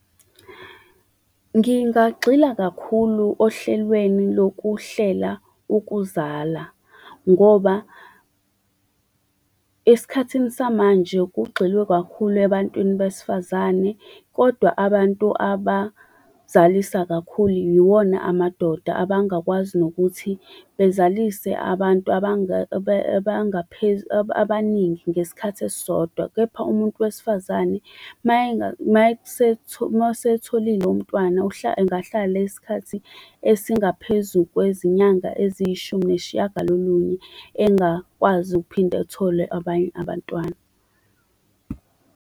Ngingagxila kakhulu ohlelweni lokuhlela ukuzala ngoba esikhathini samanje kugxilwe kakhulu ebantwini besifazane kodwa abantu abazalisa kakhulu yiwona amadoda, abangakwazi nokuthi bezalise abantu abaningi ngesikhathi esisodwa. Kepha umuntu wesifazane uma esetholile umntwana engahlala isikhathi esingaphezu kwezinyanga eziyishumi nesishiyagalolunye engakwazi ukuphinde ethole abanye abantwana.